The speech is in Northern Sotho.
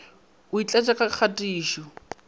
o e tlatše ka kgatišo